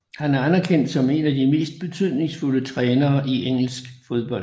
Han er anerkendt som en af de mest betydningsfulde trænere i engelsk fodbold